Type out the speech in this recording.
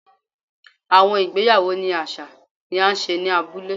Awọn igbeyawo ni aṣa ni a ṣe ni abule